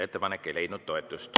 Ettepanek ei leidnud toetust.